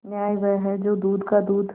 न्याय वह है जो दूध का दूध